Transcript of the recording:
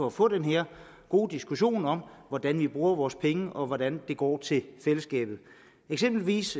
at få den her gode diskussion om hvordan vi bruger vores penge og hvordan det går til fællesskabet eksempelvis